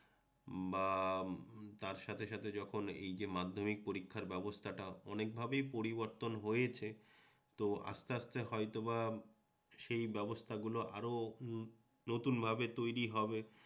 বা তার সাথে সাথে যখন এই যে মাধ্যমিক পরীক্ষার ব্যবস্থাটা অনেক ভাবেই পরিবর্তন হয়েছে তো আসতে আসতে হয়তোবা সেই ব্যবস্থাগুলো আরও নতুন ভাবে তৈরি হবে।